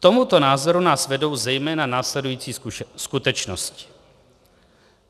K tomuto názoru nás vedou zejména následující skutečnosti.